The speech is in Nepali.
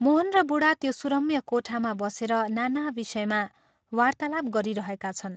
मोहन र बूढा त्यो सुरम्य कोठामा बसेर नाना विषयमा वार्तालाप गरिरहेका छन्।